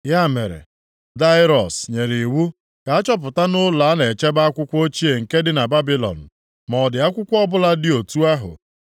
Ya mere, Daraiọs nyere iwu ka a chọpụta nʼụlọ a na-echebe akwụkwọ ochie nke ndị Babilọn ma ọ dị akwụkwọ ọbụla dị otu ahụ.